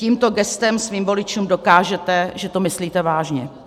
Tímto gestem svým voličům dokážete, že to myslíte vážně.